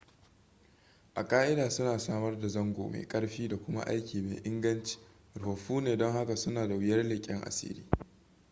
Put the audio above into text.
a ƙa'ida suna samar da zango mai ƙarfi da kuma aiki mai inganci rufaffu ne don haka suna da wuyar leƙen asiri